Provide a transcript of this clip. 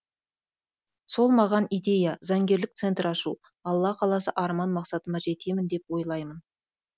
сол маған идея заңгерлік центр ашу алла қаласа арман мақсаттарыма жетемін деп ойлаймын